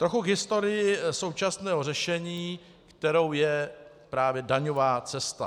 Trochu k historii současného řešení, kterou je právě daňová cesta.